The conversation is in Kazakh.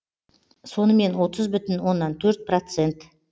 сонымен отыз бүтін оннан төрт процент